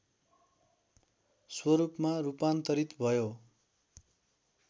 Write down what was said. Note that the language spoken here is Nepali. स्वरूपमा रूपान्तरित भयो